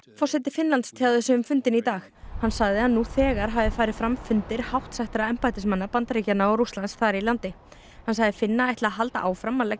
forseti Finnlands tjáði sig um fundinn í dag hann sagði að nú þegar hafi farið fram fundir hátt settra embættismanna Bandaríkjanna og Rússlands þar í landi hann sagði Finna ætla að halda áfram að leggja